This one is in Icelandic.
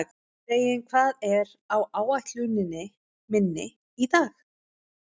Reginn, hvað er á áætluninni minni í dag?